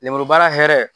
Lemuru baara hɛrɛ